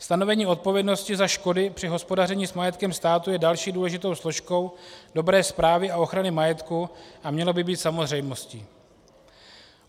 Stanovení odpovědnosti za škody při hospodaření s majetkem státu je další důležitou složkou dobré správy a ochrany majetku a mělo by být samozřejmostí.